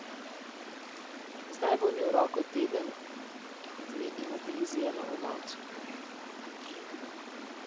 Zdaj bo imel roko teden dni imobilizirano v mavcu.